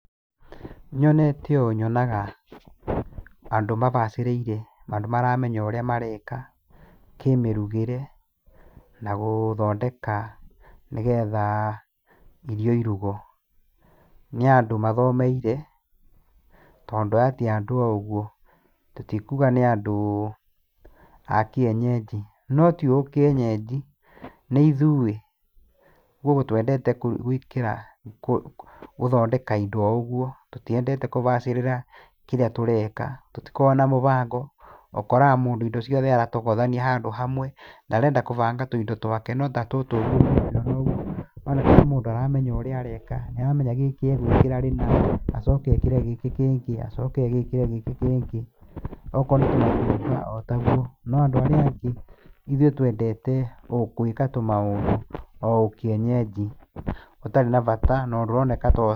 Nyonete ũũ nyonaga andũ mabacĩrĩire andũ maramenya ũrĩa mareka na gũthondeka nĩgetha irio irugwo, nĩ andũ mathomeire tondũ aya ti andũ o ũguo tũtikuga nĩ andũ a kienyeji, no ti ũkienyenji nĩ ithuĩ ũguo twendete gũthondeka indo o ũguo, tũtiendete kũbacĩrĩra kĩrĩa tũreka tũtikoragwo na mũbango ũkoraga mũndũ aratokothania handũ hamwe, ndarenda kũhanga tũindo twake notatũtũ nĩ wona nĩ mũndũ ũramenya ũrĩa areka, nĩ aramenya kĩndũ gĩkĩ agwĩkĩra rĩma, acoke ekĩre gĩkĩ kĩngĩ, acoke ekĩre gĩkĩ kĩngĩ, okorwo nĩ tũmatunda otaguo, no andũ arĩa angĩ ithuĩ twendete gwĩka o tũmaũndũ o ũkĩenyenji na ũndũ ũroneka